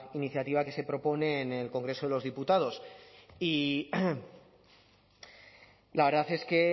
iniciativa que se propone en el congreso de los diputados y la verdad es que